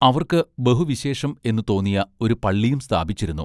അവർക്ക് ബഹു വിശേഷം എന്നു തോന്നിയ ഒരു പള്ളിയും സ്ഥാപിച്ചിരുന്നു.